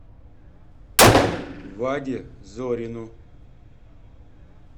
ваде зорину